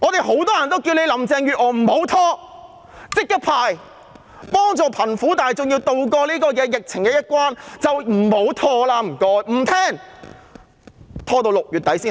很多人叫林鄭月娥不要拖，要立即發放，協助貧苦大眾渡過疫情的難關，但她不聽我們的意見。